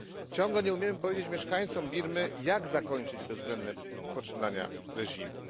Ciągle nie umiemy powiedzieć mieszkańcom Birmy, jak zakończyć bezwzględne poczynania reżimu.